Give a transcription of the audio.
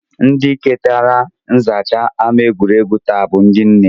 Ndị ketara nzacha ama egwuregwu taa bụ ndị nne